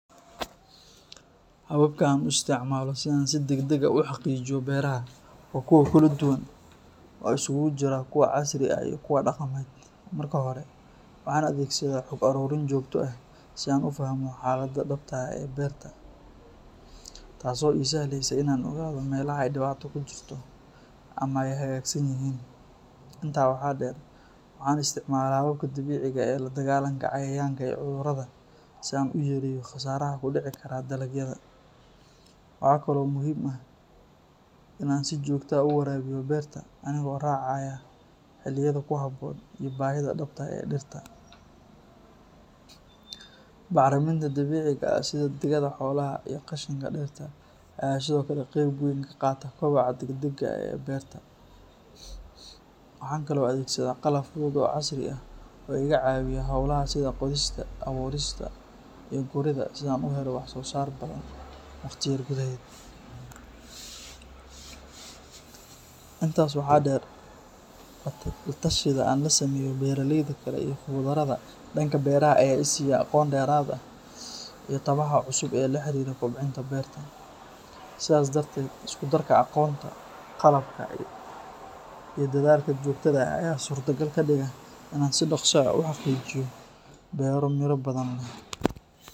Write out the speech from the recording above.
Hababka aan u isticmaalo si aan si deg deg ah u xaqiijiyo beeraha waa kuwo kala duwan oo isugu jira kuwo casri ah iyo kuwa dhaqameed. Marka hore, waxaan adeegsadaa xog ururin joogto ah si aan u fahmo xaaladda dhabta ah ee beerta, taas oo i sahlaysa in aan ogaado meelaha ay dhibaato ka jirto ama ay hagaagsan yihiin. Intaa waxaa dheer, waxaan isticmaalaa hababka dabiiciga ah ee la dagaallanka cayayaanka iyo cudurrada si aan u yareeyo khasaaraha ku dhici kara dalagyada. Waxa kale oo muhiim ah in aan si joogto ah u waraabiyo beerta, anigoo raacaya xilliyada ku habboon iyo baahida dhabta ah ee dhirta. Bacriminta dabiiciga ah sida digada xoolaha iyo qashinka dhirta ayaa sidoo kale qeyb weyn ka qaata koboca deg dega ah ee beerta. Waxaan kale oo adeegsadaa qalab fudud oo casri ah oo iga caawiya hawlaha sida qodista, abuurista, iyo guridda si aan u helo wax-soosaar badan wakhti yar gudaheed. Intaas waxaa dheer, la-tashiyada aan la sameeyo beeralayda kale iyo khuburada dhanka beeraha ayaa i siiya aqoon dheeraad ah iyo tabaha cusub ee la xiriira kobcinta beerta. Sidaas darteed, isku darka aqoonta, qalabka, iyo dadaalka joogtada ah ayaa suurto gal ka dhiga in aan si dhaqso ah u xaqiijiyo beero miro badan leh.